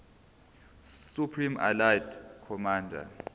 supreme allied commander